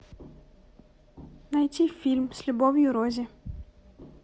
найти фильм с любовью рози